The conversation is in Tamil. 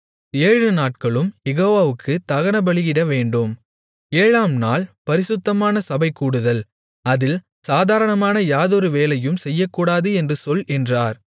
ஏழுநாட்களும் யெகோவாவுக்குத் தகனபலியிடவேண்டும் ஏழாம்நாள் பரிசுத்தமான சபைகூடுதல் அதில் சாதாரணமான யாதொரு வேலையும் செய்யக்கூடாது என்று சொல் என்றார்